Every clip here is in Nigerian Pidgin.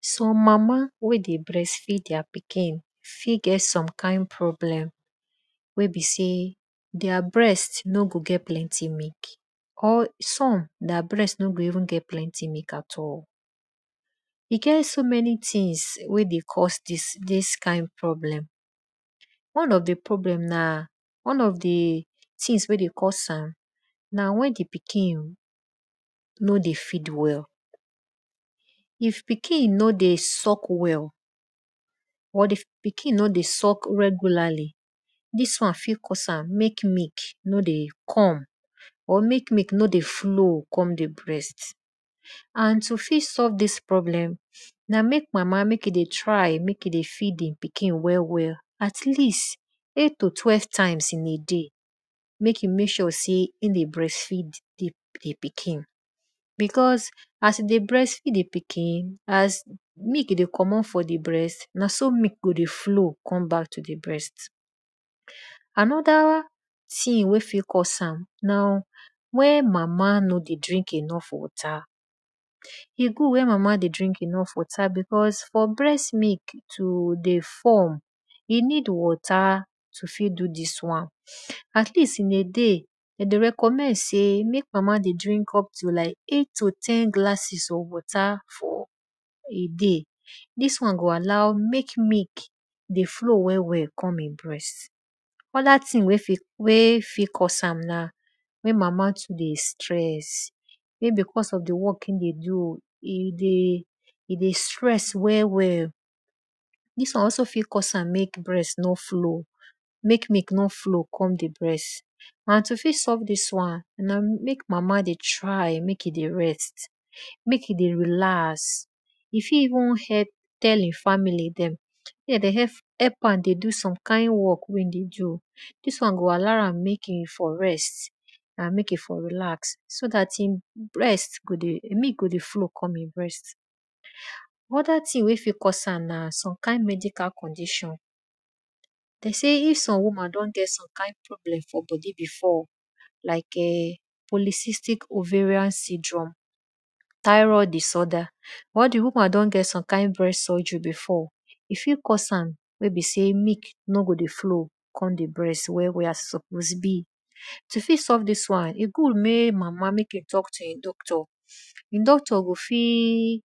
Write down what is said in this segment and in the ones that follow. Some mama wey de breat feed their pikin fit get some kind problem wey be sey their breast no go get plenty milk, or som their breatno go even get plenty milk at all. E get so many things wey dey cause dis kind problem, one of di problem na one of di things wey dey cause am na wen di pikin no dey feed well, if pikin no dey suck well, or if pikin no dey suckj regularly, dis on fit cause am mek e come or mek milk no dey flow come di breast.and to fit solve dis problem na mek mama mek e de trymek e dey feed e pikin well well.at least eight to twelve times in a day mek e mek sure sey mek e dybreast feed di pikin. Because as e dey breast feed di pikin ase dey feed di pikin na so milk go dey flow dey ome bck to di breast.anoda thing wey fit cause am nawen mama no dey drink enough water, e good mek mama todey drink enough water because for breast milk to form, e need water to fit do dis wan. At lest in a day, de deyrecommend mek mama dey drink like eight to ten glasses of water for a day. Dis wan go allow mek e dey flow come e breast well well. Other things wey fit cause am wey mama dey do na mek mama too dey stress, mey because of di work wey e dey do o e dey stress well well. Dis won alsoft cause am mek breast no flow, mek milk no flow come di breast.and to fit solve dis wan namek mama dey try mek e dey rest, mek e dey relax and e fit even tell e family dem mek de dey help a mdo some kind work wey she need. Dis won go dey allow am mek e rest, mek e for relax so dat milk go dey fow come e breast. Other things wey fit cause am na sey if di woman don get some kind problem for bodi before like[um]polisistic oerian syndrome, thyroid disorder or di woman don get some kind breast surgery before e fit cause am mek e besey milk no go dey flow come di breast as we suppose be. To solve dis wan e good mek mama talk to e doctor, e doctor gofit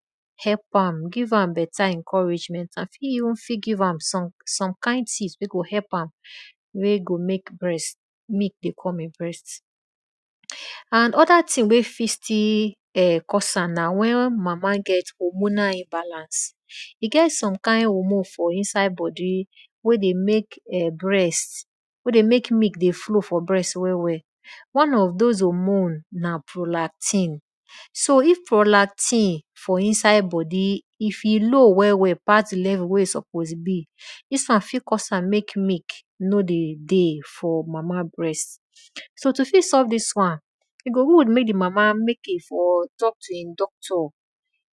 give am encouragement. E fit even give am some kind things wey go mek milk dey come e brast. And other things. Wey fit still cause am na wen mama get hormonal imbalance. E get some kind hormone for bodi wey deymek milk dey flow for breast well well one of those hormones na prolactin. So if prolactin for inside bodi if e low well wel pass di won wey e suppose be, dis won fit cause am mek milk no dey dey for mama breast.so to e go good mek di mama talk to e doctor,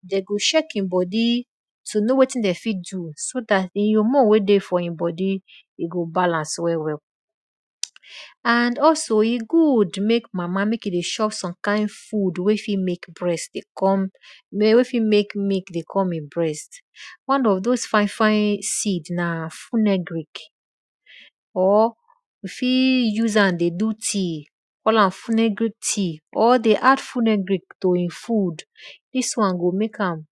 den go check e bodi to know wetin de fit do so dat di hormone wey dey for di bodi go balance well well. Andalso e good mek mama mek e dey chop food wey fit mek milk dey come e breast one of those fine fine seed na funegric or you fit use am dey do tea or dey add funegric to e food dis wan go mek am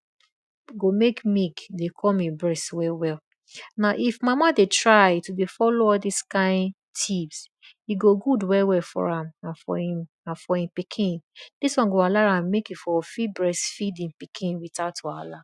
,go mek milk dey come e brast well well well.mna if mama dey try to dey follow all dis kind tips e good well well for e pikin dis won go fit allow am mek e tek breast feed e pikin without wahala.